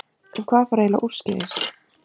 En hvað fór eiginlega úrskeiðis?